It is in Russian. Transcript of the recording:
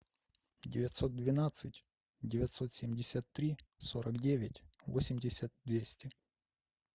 девятьсот двенадцать девятьсот семьдесят три сорок девять восемьдесят двести